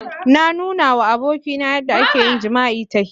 Na nuna wa abokina yadda ake yin jima'i ta hira.